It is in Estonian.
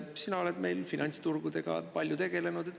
Sina oled meil finantsturgudega palju tegelenud.